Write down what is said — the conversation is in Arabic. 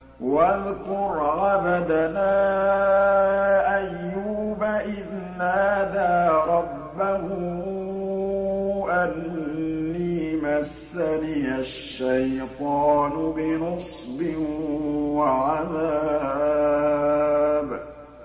وَاذْكُرْ عَبْدَنَا أَيُّوبَ إِذْ نَادَىٰ رَبَّهُ أَنِّي مَسَّنِيَ الشَّيْطَانُ بِنُصْبٍ وَعَذَابٍ